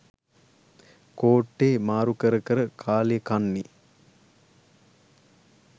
කෝට්ටේ මාරු කර කර කාලේ කන්නේ.